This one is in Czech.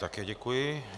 Také děkuji.